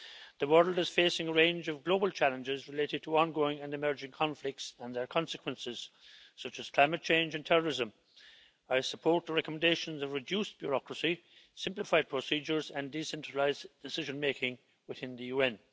The world is facing a range of global challenges related to ongoing and emerging conflicts and their consequences, such as climate change and terrorism. I support the recommendations of reduced bureaucracy, simplified procedures and decentralised decision-making within the UN.